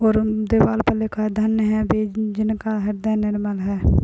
और उन दीवार पर लिखा है धन्य है वे जिनका हृदय निर्मल है।